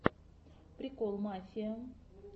прикол мафия